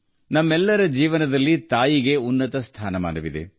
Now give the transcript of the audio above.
ನಮ್ಮೆಲ್ಲರ ಜೀವನದಲ್ಲಿ ತಾಯಿಯು ಅತ್ಯುನ್ನತ ಸ್ಥಾನ ಹೊಂದಿದ್ದಾಳೆ